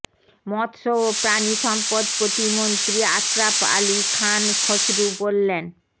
মৎস্য ও প্রাণি সম্পদ প্রতিমন্ত্রী আশরাফ আলী খান খসরু বললেন